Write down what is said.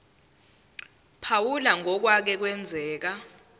phawula ngokwake kwenzeka